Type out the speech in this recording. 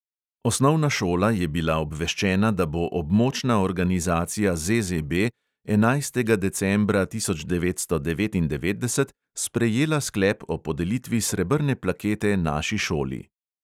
Osnovna šola je bila obveščena, da bo območna organizacija ZZB enajstega decembra tisoč devetsto devetindevetdeset sprejela sklep o podelitvi srebrne plakete naši šoli.